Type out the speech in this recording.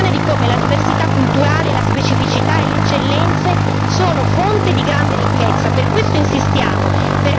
Noi qui siamo la dimostrazione di come la diversità culturale, la specificità e le eccellenze sono fonte di grande ricchezza.